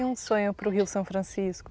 E um sonho para o Rio São Francisco?